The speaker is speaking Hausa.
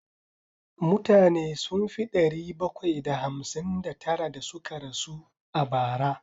Mutane sun fi ɗari bakwai da hamsin da tara da suka rasu a bara.